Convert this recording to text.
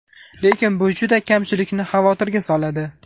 Lekin bu juda kamchilikni xavotirga soladi.